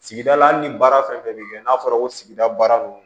Sigida la hali ni baara fɛn fɛn bɛ kɛ n'a fɔra ko sigida baara nunnu